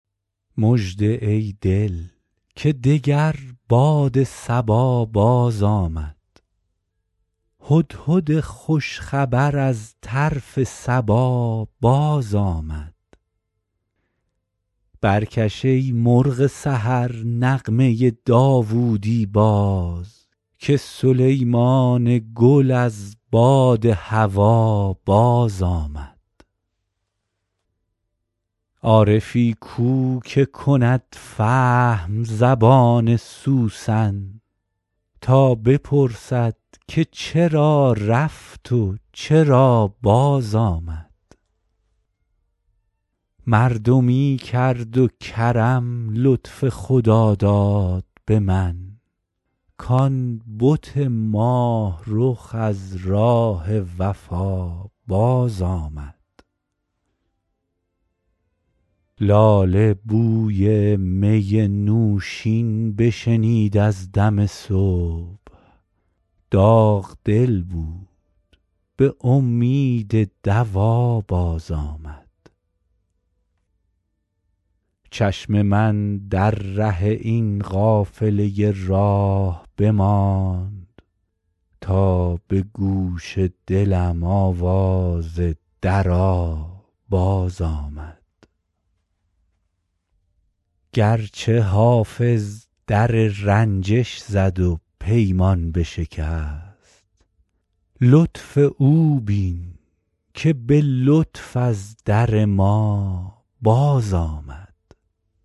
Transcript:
مژده ای دل که دگر باد صبا بازآمد هدهد خوش خبر از طرف سبا بازآمد برکش ای مرغ سحر نغمه داوودی باز که سلیمان گل از باد هوا بازآمد عارفی کو که کند فهم زبان سوسن تا بپرسد که چرا رفت و چرا بازآمد مردمی کرد و کرم لطف خداداد به من کـ آن بت ماه رخ از راه وفا بازآمد لاله بوی می نوشین بشنید از دم صبح داغ دل بود به امید دوا بازآمد چشم من در ره این قافله راه بماند تا به گوش دلم آواز درا بازآمد گرچه حافظ در رنجش زد و پیمان بشکست لطف او بین که به لطف از در ما بازآمد